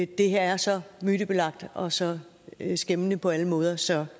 det her er så mytebelagt og så skæmmende på alle måder så